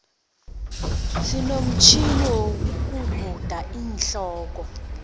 sinomutjhini wokuguda iinhloko